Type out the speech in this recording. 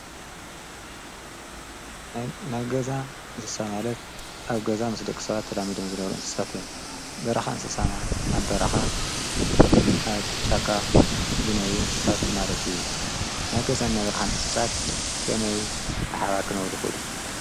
ነገዛ እንስሳ ማለት ኣብ ገዛ ምስ ደኽ ሰባት ተላሚዶም ዝነሩ እንስሳት እዮም በራኻ እንስሳማልት ኣብ በራኻ ኣብ ጫካ ዝነሩ ንስሳት ማለት እዩ ነገዛ ናይብ ርኻ ንስሳት ከመይ ብሓባር ክነበሩ ይኮሉ?